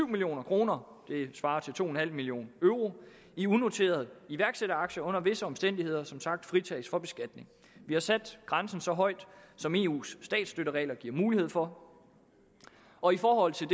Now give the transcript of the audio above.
million kroner det svarer til to million euro i unoterede iværksætteraktier under visse omstændigheder som sagt fritages for beskatning vi har sat grænsen så højt som eu’s statsstøtteregler giver mulighed for og i forhold til